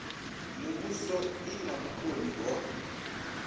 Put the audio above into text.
muvhuso i na vhukoni ho